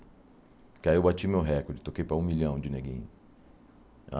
Porque aí eu bati meu recorde, toquei para um milhão de neguinho.